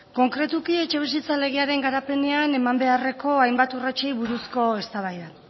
konkretuki etxebizitza legearen garapenean eman beharreko hainbat urratsei buruzko eztabaida